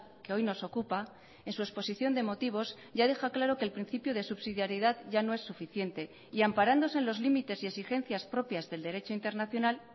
que hoy nos ocupa en su exposición de motivos ya deja claro que el principio de subsidiaridad ya no es suficiente y amparándose en los límites y exigencias propias del derecho internacional